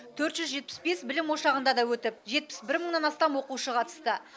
төрт жүз жетпіс бес білім ошағында да өтіп жетпіс бір мыңнан астам оқушы қатысты